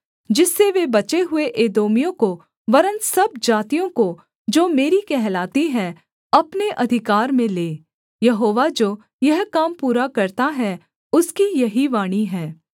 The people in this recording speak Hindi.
जिससे वे बचे हुए एदोमियों को वरन् सब जातियों को जो मेरी कहलाती हैं अपने अधिकार में लें यहोवा जो यह काम पूरा करता है उसकी यही वाणी है